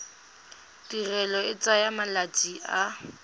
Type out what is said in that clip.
tirelo e tsaya malatsi a